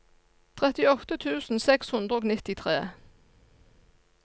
trettiåtte tusen seks hundre og nittitre